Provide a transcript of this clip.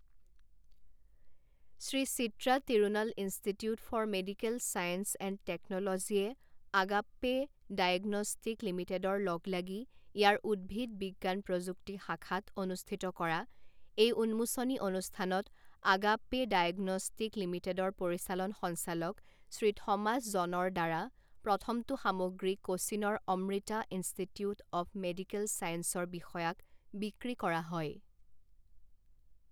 Shri Chitra Tirunal Institute for Medical Science and টেক্নলজিয়ে Agappe Diagnostic লিমিটে়ডৰ লগলাগি ইয়াৰ উদ্ভিদ বিজ্ঞান প্ৰযুক্তি শাখাত অনুষ্ঠিত কৰা এই উন্মোচনী অনুষ্ঠানত আগাপ্পে ডায়েগনষ্টিক লিমিটে়ডৰ পৰিচালন সঞ্চালক শ্ৰী থমাছ জনৰৰদ্বাৰা প্ৰথমটো সামগ্ৰী কোচিনৰ অমৃতা ইনষ্টিটিউট অৱ মেডিকেল চায়েন্সৰ বিষয়াক বিক্ৰী কৰা হয়।